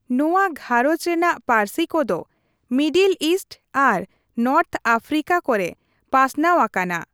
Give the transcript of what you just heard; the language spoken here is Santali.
ᱱᱚᱣᱟ ᱜᱷᱟᱨᱚᱸᱡᱽ ᱨᱮᱱᱟᱜ ᱯᱟ.ᱨᱥᱤ ᱠᱚ ᱫᱚ ᱢᱤᱰᱤᱞ ᱤᱥᱴ ᱟᱨ ᱱᱚᱨᱛᱷ ᱟᱯᱷᱨᱤᱠᱟ ᱠᱚᱨᱮ ᱯᱟᱥᱱᱟᱣ ᱟᱠᱟᱱᱟ ᱾